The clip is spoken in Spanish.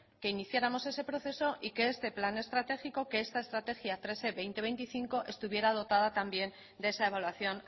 que iniciáramos ese proceso y que es plan estratégico que esta estrategia tres e veinte veinticinco estuviera dotada también de esa evaluación